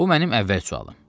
Bu mənim əvvəl sualım.